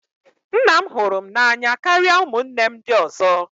Nna m hụrụ m n'anya karịa ụmụnne m ndị ọzọ